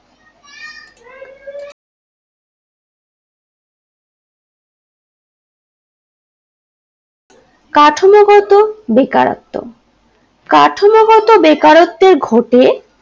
কাঠামো গত বেকারত্ব কাঠামো গত বেকারত্বে ঘটে